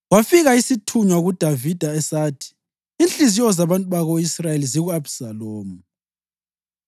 Kwafika isithunywa kuDavida sathi, “Inhliziyo zabantu bako-Israyeli ziku-Abhisalomu.”